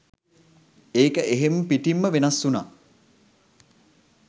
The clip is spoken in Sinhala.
ඒක එහෙම පිටිම්ම වෙනස් වුණා.